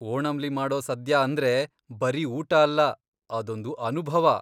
ಓಣಂಲಿ ಮಾಡೋ ಸದ್ಯಾ ಅಂದ್ರೆ ಬರೀ ಊಟ ಅಲ್ಲ, ಅದೊಂದು ಅನುಭವ.